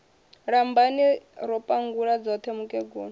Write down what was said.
lambani ro pangula dzoṱhe mukegulu